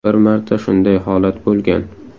Bir marta shunday holat bo‘lgan.